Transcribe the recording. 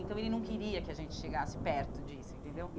Hum Então, ele não queria que a gente chegasse perto disso, entendeu?